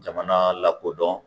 Jamanaa lakodɔn